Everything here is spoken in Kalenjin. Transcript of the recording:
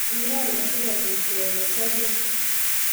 Kuron asikopit kepe soget